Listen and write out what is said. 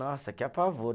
Nossa, que apavoro.